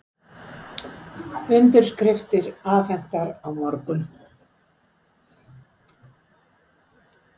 Undirskriftir afhentar á morgun